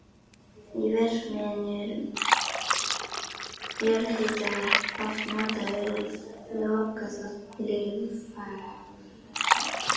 Í verksmiðjum er jarðhitavatn oft notað við lokaþvott litfagurra teppa.